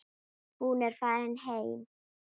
Hún er farin heim.